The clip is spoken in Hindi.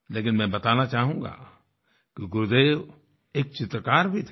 लेकिन मैं बताना चाहूँगा कि गुरुदेव एक चित्रकार भी थे